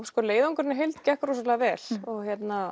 sko leiðangurinn í heild gekk rosalega vel og